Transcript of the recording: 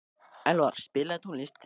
Elvar, spilaðu tónlist.